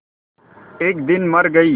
एक दिन मर गई